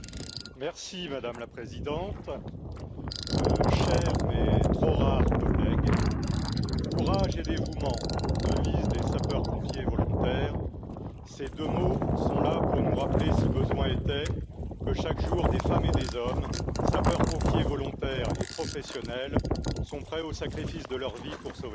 Madame la présidente, chers mais trop rares collègues, courage et dévouement, devise des sapeurs pompiers volontaires, ces deux mots sont là pour nous rappeler, si besoin était, que chaque jour, des femmes et des hommes sapeurs pompiers volontaires et professionnels sont prêts au sacrifice de leur vie pour sauver les nôtres.